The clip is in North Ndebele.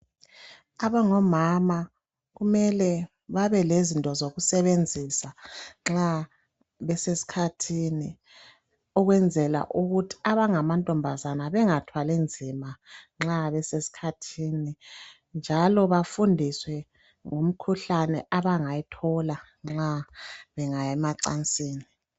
Abangomama kumele babe lezinto zokusebenzisa nxa besesikhathini ukwenzela ukuthi abangamantombazana bengathwali nzima nxa besesikhathini, njalo bafundiswe ngomkhuhlane abangayithola nxa bengaya emacansini.